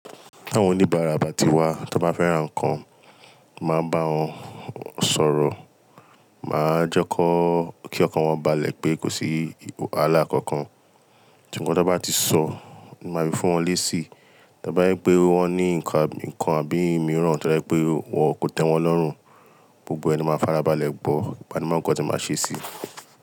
Àwọn oníbàárà bàtí wá tí wọ́n bá fẹ́ ra nǹkan, màá n bá wọn sọ̀rọ̀, màá jẹ́ kó kí ọkàn wọn bá le pé kò sí ìhàlà kankan. Nkan tí o n bá ti sọ, màá fi fún wọn lésì, tí bá yẹ pé wọ́n ní nǹkan àbí ìmíràn tí wọ́n dá pé wọn kò tẹ́wọn lọ́rùn, gbogbo ẹni máa farabalẹ̀ gbo ipa ni máa ń kọ́ tí màá ṣe sí i.